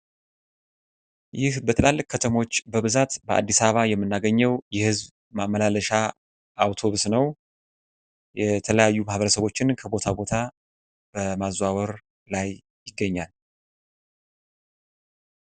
ይህ በትላልቅ ከተሞች በብዛት በአዲስ አበባ የመናገኘው የህዝብ ማመላለሻ አውቶብስ ነው። የተለያዩ ማህበረሰቦችን ከቦታ ከቦታ በማዘዋወር ላይ ይገኛል።